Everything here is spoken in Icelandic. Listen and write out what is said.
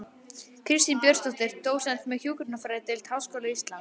Kristín Björnsdóttir, dósent við hjúkrunarfræðideild Háskóla Íslands